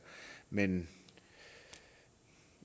men